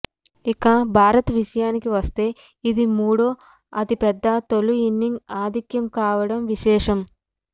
ఇక భారత్ విషయానికి వస్తే ఇది మూడో అతిపెద్ద తొలి ఇన్నింగ్స్ ఆధిక్యం కావడం విశేషం